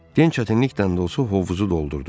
Gənc çətinlikdən də olsa hovuzu doldurdu.